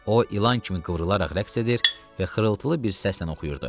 O ilan kimi qıvrılaraq rəqs edir və xırıltılı bir səslə oxuyurdu.